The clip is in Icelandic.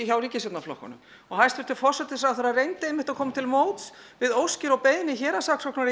hjá ríkisstjórnarflokkunum hæstvirtur forsætisráðherra reyndi að koma til móts við óskir og beiðni héraðssaksóknara í